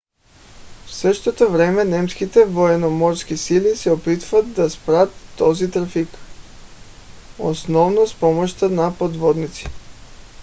в същото време немските военноморски сили се опитват да спрат този трафик основно с помощта на подводници